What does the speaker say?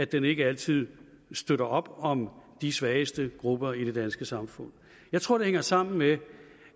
den ikke altid støtter op om de svageste grupper i det danske samfund jeg tror det hænger sammen med